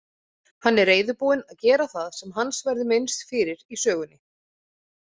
Hann er reiðubúinn að gera það sem hans verður minnst fyrir í sögunni.